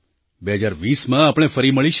2020માં આપણે ફરી મળીશું